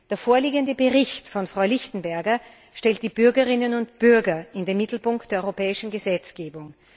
Der vorliegende Bericht von Frau Lichtenberger stellt die Bürgerinnen und Bürger in den Mittelpunkt der europäischen Gesetzgebung.